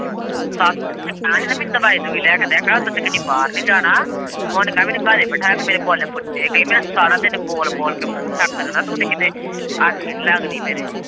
ਸੱਸ ਨੂੰ ਕਹਿਣਾ ਹੀ ਨਾ ਮੈਨੂੰ ਦਵਾਈ-ਦੂਵਈ ਲੈ ਕੇ ਦੇ ਕਹਿਣਾ ਉੱਦਾ ਤੂੰ ਕਹਿਣੀ ਬਾਹਰ ਨੀ ਜਾਣਾ ਹੁਣ ਕਹਿ ਮੈਨੂੰ ਘਰੇ ਬਹਿਠਾਈਆਂ ਪੀ ਮੇਰੇ ਬੁੱਲ ਫੁੱਟੇ ਕਹਿ ਮੇਰਾ ਸਾਰਾ ਦਿਨ ਬੋਲ-ਬੋਲ ਕੇ ਮੂੰਹ ਥੱਕ ਜਾਂਦਾ ਤੂੰ ਤੇ ਆਖੇ ਨੀ ਲੱਗਦੀ ਮੇਰੇ।